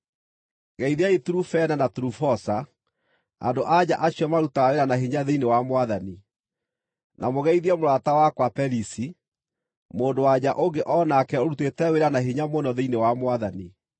Geithiai Turufena na Turufosa, andũ-a-nja acio marutaga wĩra na hinya thĩinĩ wa Mwathani. Na mũgeithie mũrata wakwa Perisi, mũndũ-wa-nja ũngĩ o nake ũrutĩte wĩra na hinya mũno thĩinĩ wa Mwathani.